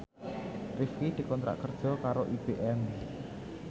Rifqi dikontrak kerja karo IBM